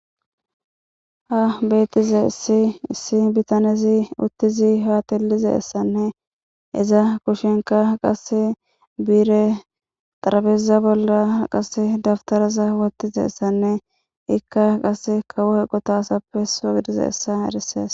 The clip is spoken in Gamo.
Ha beetize issi issi bitanezi uttizi haatilize ssanne iza kushenka qase biire xarabeza bolla qase daftaraza watize essanne ikka qase kawo heqotaasappe so gidize essa eresees